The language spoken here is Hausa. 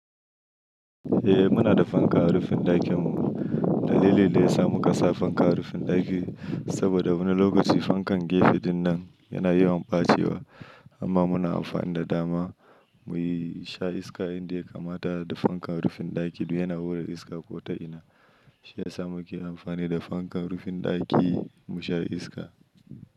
Eh muna da fankar rufin ɗakin mu. Dalilin da yasa muka sa fanka a rufin ɗaki saboda wani lokaci fankan gefe dinnan yana yawan ɓacewa amma muna amfani da dama muyi sha iska yanda ya kamata da fankar rufin ɗaki du yana hura iska ko ta ina. Shi ya sa muke amfani da fankar rufin ɗaki mu sha iska.